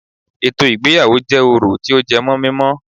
Ètò ìgbéyàwó jẹ́ orò tí ó jẹ́ mímó